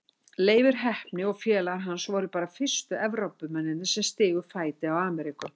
Leifur heppni og félagar hans voru bara fyrstu Evrópumennirnir sem stigu fæti á Ameríku.